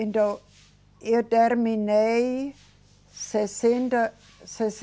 Então, eu terminei sessenta,